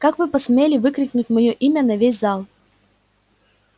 как вы посмели выкрикнуть моё имя на весь зал